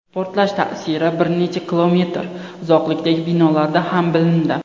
Portlash ta’siri bir necha kilometr uzoqlikdagi binolarda ham bilindi.